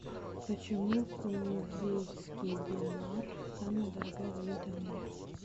почему кувейтский динар самая дорогая валюта в мире